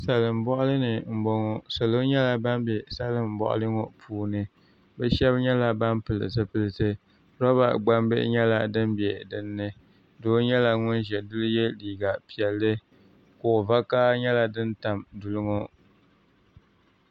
Salin boɣali ni n boŋo salo nyɛla ban bɛ salin boɣali ŋo puuni bi shab nyɛla ban pili zipiliti roba gbambihi nyɛla din bɛ dinni doo nyɛla ŋun ʒɛ duli yɛ liiga piɛlli kuɣu vakaha nyɛla din tam duli ŋo